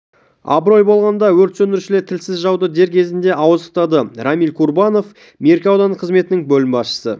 абырой болғанда өрт сөндірушілер тілсіз жауды дер кезінде ауыздықтады рамиль курбанов меркі аудандық қызметінің бөлім басшысы